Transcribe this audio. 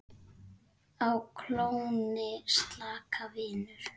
Á klónni slaka, vinur